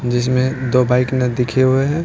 जिसमें दो बाइक ना दिखे हुए हैं।